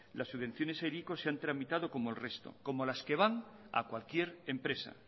las subvenciones de hiriko se han tramitado como el resto como las que van a cualquier empresa